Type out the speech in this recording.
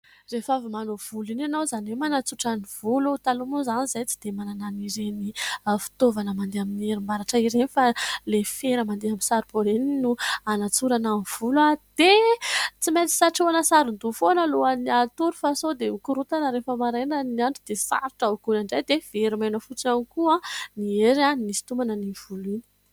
Rehefa avy manao volo iny ianao, izany hoe manatsotra ny volo, taloha moa izany izahay tsy dia manana an'ireny fitaovana mandeha amin'ny herinaratra ireny fa ilay fera mandeha amin'ny saribao ireny no hanatsorana ny volo dia tsy maintsy satrohana saron-doha foana alohan'ny hatory fa sao dia mikorontana rehefa maraina ny andro dia sarotra hogoana indray dia very maina fotsiny ihany koa ny hery nisitomana an'iny volo iny.